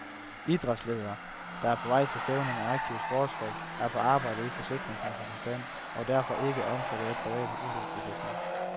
Idrætsledere, der er på vej til stævner med aktive sportsfolk, er på arbejde i forsikringsmæssig forstand og derfor ikke omfattet af private ulykkesforsikringer.